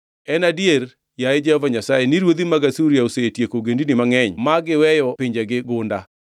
“En adier, yaye Jehova Nyasaye, ni ruodhi mag Asuria osetieko ogendini mangʼenygi ma giweyo pinjegi gunda.